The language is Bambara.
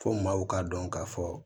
Fo maaw ka dɔn ka fɔ